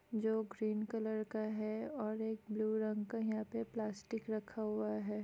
जो green colour का है और एक ब्लू रंग का यहाँ पे प्लास्टिक रखा हुआ हैं ।